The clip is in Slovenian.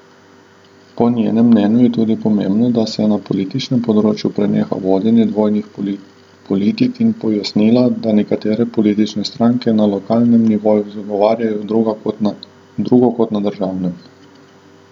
Po njenem mnenju je tudi pomembno, da se na političnem področju preneha vodenje dvojnih politik, in pojasnila, da nekatere politične stranke na lokalnem nivoju zagovarjajo drugo kot na državnem.